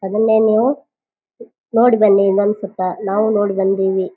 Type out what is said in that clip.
ಅದನ್ನೇ ನೀವು ನೋಡಬನ್ನಿ ನನ್ ಸುತ್ತ ನಾವು ನೋಡಿ ಬಂದಿವಿ.